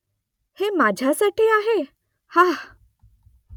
हे माझ्यासाठी आहे ? हा !